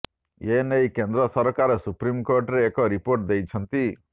ଏ ନେଇ କେନ୍ଦ୍ର ସରକାର ସୁପ୍ରିମ୍ କୋର୍ଟରେ ଏକ ରିିପୋଟ ଦେଇଛନ୍ତି